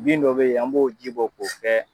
Bin dɔ be ye an b'o ji bɔ k'o fɛ